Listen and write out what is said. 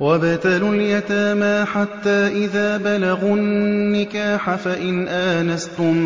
وَابْتَلُوا الْيَتَامَىٰ حَتَّىٰ إِذَا بَلَغُوا النِّكَاحَ فَإِنْ آنَسْتُم